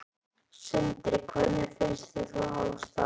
Sindri: Hvernig finnst þér þú hafa staðið þig?